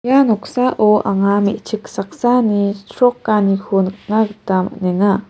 ia noksao anga mechik saksani chrokaniko nikna gita man·enga.